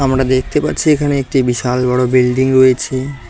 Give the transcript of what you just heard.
আমরা দেখতে পারছি এখানে একটি বিশাল বড়ো বিল্ডিং রয়েছে।